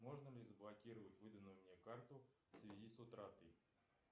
можно мне заблокировать выданную мне карту в связи с утратой